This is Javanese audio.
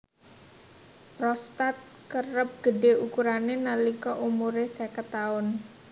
Prostat kerep gedhé ukurané nalika umuré seket taun